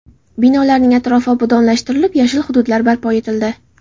Binolarning atrofi obodonlashtirilib, yashil hududlar barpo etildi.